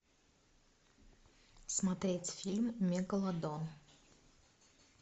смотреть фильм мегалодон